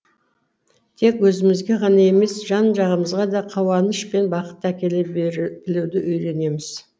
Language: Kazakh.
тек өзімізге ғана емес жан жағымызға да қауаныш пен бақытты әкеле үйренеміз